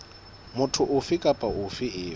motho ofe kapa ofe eo